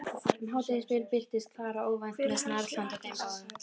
Um hádegisbil birtist Klara óvænt með snarl handa þeim báðum.